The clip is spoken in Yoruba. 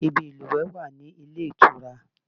Ibi ìlúwẹ̀ẹ́ wà ní ilé ìtura